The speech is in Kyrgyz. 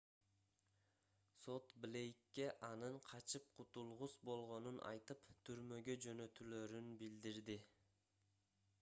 сот блейкке анын качып кутулгус болгонун айтып түрмөгө жөнөтүлөрүн билдирди